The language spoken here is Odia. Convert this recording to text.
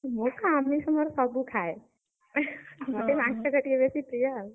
ମୁଁ ତ ଆମିଷ ମୋର ସବୁ ଖାଏ, ମୋର ମାଂସ ଟା ଟିକେ ବେଶୀ ପ୍ରିୟ ଆଉ।